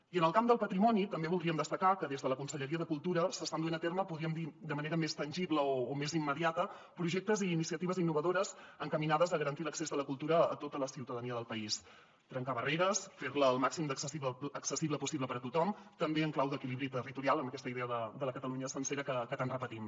i en el camp del patrimoni també voldríem destacar que des de la conselleria de cultura s’estan duent a terme podríem dir de manera més tangible o més immediata projectes i iniciatives innovadores encaminades a garantir l’accés a la cultura a tota la ciutadania del país trencar barreres fer la el màxim d’accessible possible per a tothom també en clau d’equilibri territorial amb aquesta idea de la catalunya sencera que tant repetim